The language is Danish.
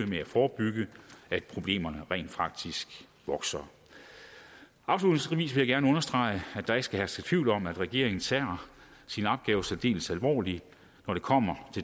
med at forebygge at problemerne rent faktisk vokser afslutningsvis vil jeg gerne understrege at der ikke skal herske tvivl om at regeringen tager sin opgave særdeles alvorligt når det kommer